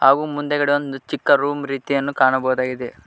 ಉ ಮುಂದಗೆಡೆ ಒಂದ್ ಚಿಕ್ಕ ರೂಮ್ ರೀತಿಯನ್ನು ಕಾಣಬಹುದಾಗಿದೆ.